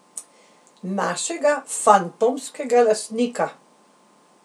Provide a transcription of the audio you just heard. Našega fantomskega lastnika?